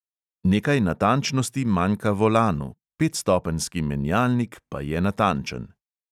Nekaj natančnosti manjka volanu, petstopenjski menjalnik pa je natančen.